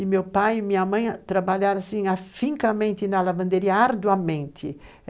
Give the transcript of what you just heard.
e meu pai e minha mãe trabalharam afincamente na lavanderia, arduamente.